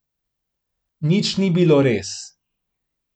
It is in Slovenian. Nič ni bilo res.